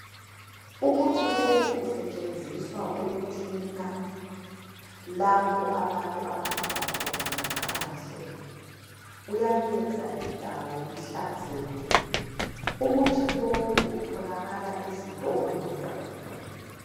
Umuthi lowu usetshenziswa ukuklina lapho abantu abahamba khona ngaphandle uyayeza indawo ihlazeke umuthi lowu utholakala ezitolo.